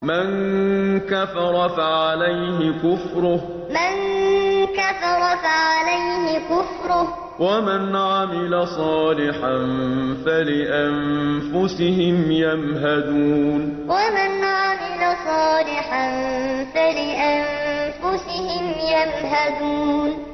مَن كَفَرَ فَعَلَيْهِ كُفْرُهُ ۖ وَمَنْ عَمِلَ صَالِحًا فَلِأَنفُسِهِمْ يَمْهَدُونَ مَن كَفَرَ فَعَلَيْهِ كُفْرُهُ ۖ وَمَنْ عَمِلَ صَالِحًا فَلِأَنفُسِهِمْ يَمْهَدُونَ